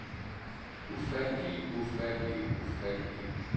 ufattelige ufattelige ufattelige